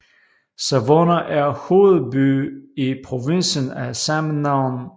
Savona er hovedby i provinsen af samme navn